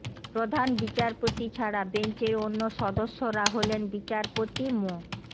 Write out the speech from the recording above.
প্রধান বিচারপতি ছাড়া বেঞ্চের অন্য সদস্যরা হলেন বিচারপতি মো